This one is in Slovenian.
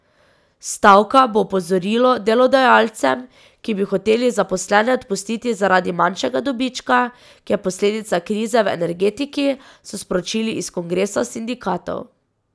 Stavka bo opozorilo delodajalcem, ki bi hoteli zaposlene odpustiti zaradi manjšega dobička, ki je posledica krize v energetiki, so sporočili iz kongresa sindikatov.